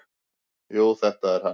"""Jú, þetta er hann."""